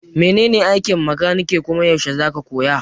Menene aikin makaniki kuma yaushe zaka koya?